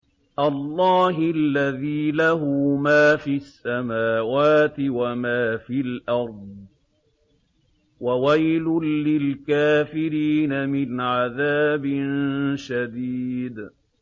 اللَّهِ الَّذِي لَهُ مَا فِي السَّمَاوَاتِ وَمَا فِي الْأَرْضِ ۗ وَوَيْلٌ لِّلْكَافِرِينَ مِنْ عَذَابٍ شَدِيدٍ